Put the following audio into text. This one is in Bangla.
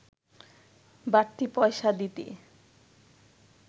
বাড়তি পয়সা দিতে